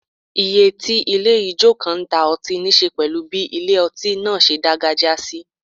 Ìyè tí ilé ijó kan ń ta ọtí níṣe pẹ̀lú bí ilé ọtí náà ṣe dágájíá sí